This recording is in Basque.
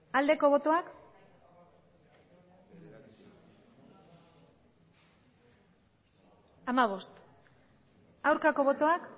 aldeko botoak aurkako botoak